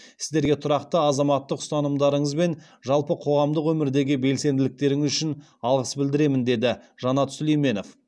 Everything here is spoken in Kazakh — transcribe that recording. сіздерге тұрақты азаматтық ұстанымдарыңыз бен жалпы қоғамдық өмірдегі белсенділіктеріңіз үшін алғыс білдіремін деді жанат сүлейменов